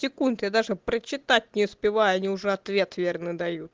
я даже прочитать не успеваю они уже ответ верный дают